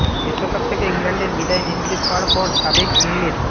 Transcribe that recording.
বিশ্বকাপ থেকে ইংল্যান্ডের বিদায় নিশ্চিত হওয়ার পর সাবেক ইংলিশ